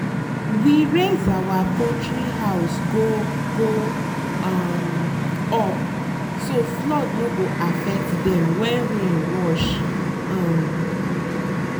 we raise our poultry house go go um up so flood no go affect them when rain rush. um